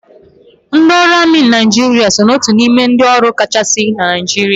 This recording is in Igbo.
Ndị ọrụ amị Naijiria so na otu n'ime ndị ọrụ agha kachasị na Naijiria